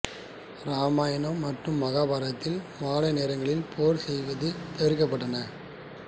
இராமாயணம் மற்றும் மகாபாரதத்தில் மாலை நேரங்களில் போர் செய்வது தவிர்க்கபட்டன